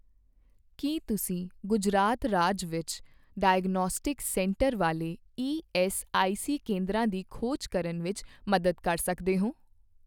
ਕੀ ਤੁਸੀਂ ਗੁਜਰਾਤ ਰਾਜ ਵਿੱਚ ਡਾਇਗਨੌਸਟਿਕਸ ਸੈਂਟਰ ਵਾਲੇ ਈਐੱਸਆਈਸੀ ਕੇਂਦਰਾਂ ਦੀ ਖੋਜ ਕਰਨ ਵਿੱਚ ਮਦਦ ਕਰ ਸਕਦੇ ਹੋ?